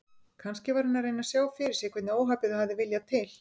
Kannski var hann að reyna að sjá fyrir sér hvernig óhappið hafði viljað til.